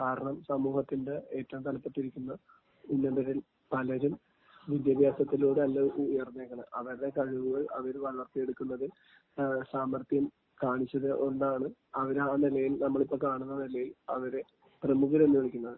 കാരണം സമൂഹത്തിന്റെ ഏറ്റവും തലപ്പത്തിരിക്കുന്ന ഉന്നതരിൽ പലരും വിദ്യാഭ്യാസത്തിലൂടെ അല്ല അവരുയർന്നേക്കണേ..അവരുടെ കഴിവുകൾ അവർ വളർത്തിയെടുക്കുന്നതിൽ സാമർഥ്യം കാണിച്ചതുകൊണ്ടാണ് അവരിന്ന് ആ നിലയിൽ, നമ്മളിന്ന് കാണുന്ന നിലയിൽ അവരെ പ്രമുഖർ എന്ന് വിളിക്കുന്നത്.